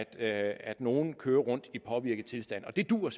at nogen kører rundt i påvirket tilstand og det duer